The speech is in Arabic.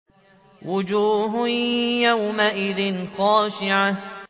وُجُوهٌ يَوْمَئِذٍ خَاشِعَةٌ